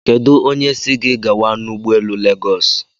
Kedu si gi gawa n'ụgbọelu Legos?